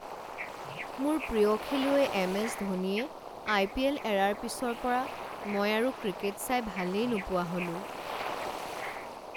মোৰ প্ৰিয় খেলুৱৈ এম.এচ. ধোনীয়ে আই.পি.এল. এৰাৰ পিছৰ পৰা মই আৰু ক্ৰিকেট চাই ভালেই নোপোৱা হ'লো।